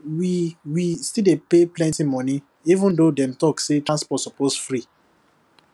we we still dey pay plenty money even though dem talk say transport suppose free